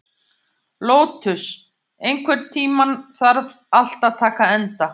Lótus, einhvern tímann þarf allt að taka enda.